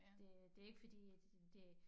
Det det ikke fordi at det